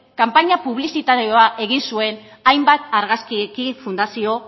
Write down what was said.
kanpaina publizitarioa egin zuen hainbat argazkiekin fundazio